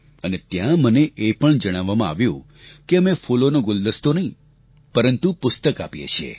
અને ત્યાં મને એ પણ જણાવવામાં આવ્યું કે અમે ફૂલોનો ગુલદસ્તો નહીં પરંતુ પુસ્તક આપીએ છીએ